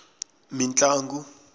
mintlangu